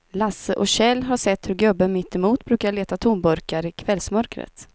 Lasse och Kjell har sett hur gubben mittemot brukar leta tomburkar i kvällsmörkret.